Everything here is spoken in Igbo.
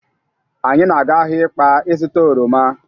Anyị na-aga ahịa Ịkpa ịzụta oroma.